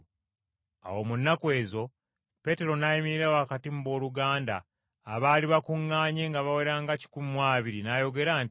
Awo mu nnaku ezo, Peetero n’ayimirira wakati mu booluganda abaali bakuŋŋaanye nga bawera nga kikumi mu abiri, n’ayogera nti,